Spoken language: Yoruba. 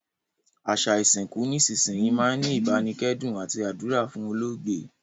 Àsa ìsìnkù nísinsìnyi máa n ni ìbánikẹ́dùn àti àdúrà fún olóògbé